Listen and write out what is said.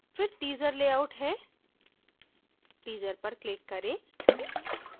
फिर teaser layout है teaser पर click करें